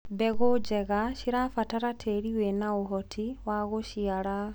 mbegũ njega cirabatara tĩĩri wina uhoti wa guciara